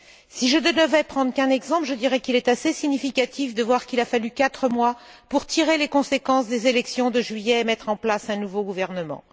Si je ne devais prendre qu'un exemple, je dirais qu'il est assez significatif de constater qu'il a fallu quatre mois pour tirer les conséquences des élections de juillet et mettre en place un nouveau gouvernement.